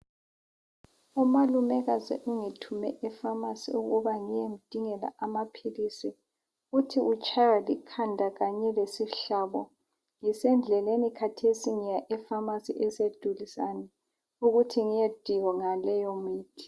Umalumekazi ungithume eFamasi ukuba ngiyemdingela amaphilisi, uthi utshaywa likhanda kanye lesihlabo ngisendleleni khathesi ngiya e Famasi eseduzane ukuthi ngiyedinga leyo mithi.